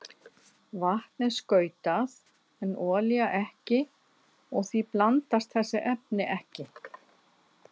Vatn er skautað en olía ekki og því blandast þessi efni ekki.